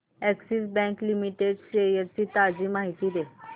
Axis Bank Limited shares ची ताजी माहिती दे